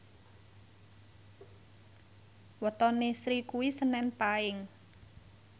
wetone Sri kuwi senen Paing